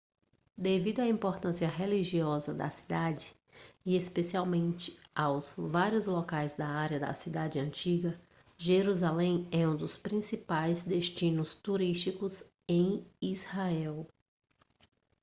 devido à importância religiosa da cidade e especialmente aos vários locais da área da cidade antiga jerusalém é um dos principais destinos turísticos em israel